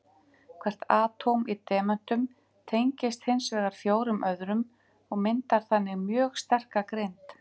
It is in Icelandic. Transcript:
Hvert atóm í demöntum tengist hins vegar fjórum öðrum og myndar þannig mjög sterka grind.